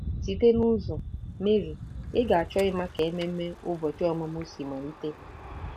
Site n'ụzọ, Mary, ị ga-achọ ịma ka ememe ụbọchị ọmụmụ si malite?